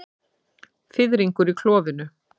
Fiðringur í klofinu.